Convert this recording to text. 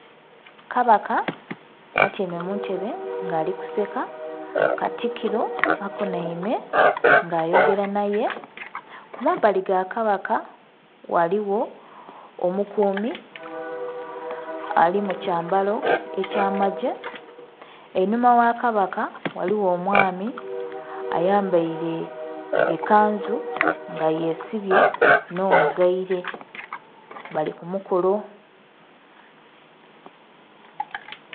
Kabaka atyaime mu ntebe nga ali kuseka, katikiro akunhaime nga ayogera nhaye. Ku mabbali ga kabaka ghaligho omukuumi ali mu kyambalo ekyamagye. Einhuma gha kabaka ghaligho omwami ayambaile ekanzu nga yesibye nh'omugaile bali ku mukolo.